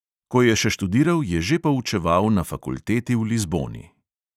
Ko je še študiral, je že poučeval na fakulteti v lizboni.